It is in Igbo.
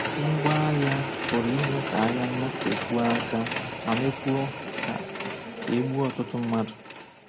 Ngwá agha pụrụ ime ka agha nọtekwuo aka ma mekwuo ka ka e gbuo ọtụtụ mmadụ.